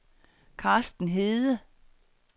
Carsten Hede